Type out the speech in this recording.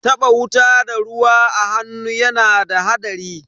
Taba wuta da ruwa a hannu yana da hadari.